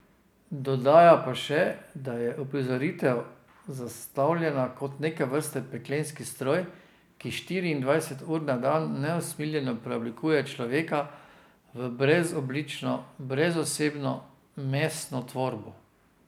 Dodaja pa še, da je uprizoritev zastavljena kot neke vrste peklenski stroj, ki štiriindvajset ur na dan neusmiljeno preoblikuje človeka v brezoblično, brezosebno meseno tvorbo.